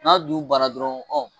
N'a du bara dɔrɔn